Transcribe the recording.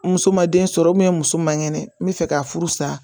Muso ma den sɔrɔ muso man kɛnɛ n bɛ fɛ ka furu sa